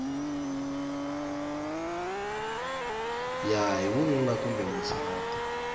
ya hi vununa kumbe vusati